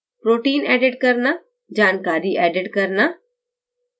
protein edit करना जानकारी edit करना